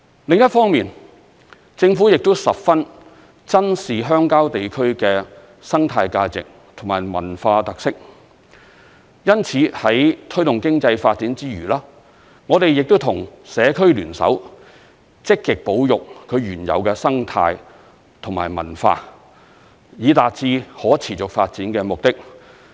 另一方面，政府亦十分珍視鄉郊地區的生態價值和文化特色，因此在推動經濟發展之餘，我們亦跟社區聯手，積極保育其原有的生態和文化，以達致可持續發展的目的。